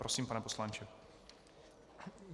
Prosím, pane poslanče.